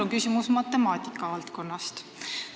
Minu küsimus on matemaatika valdkonnast.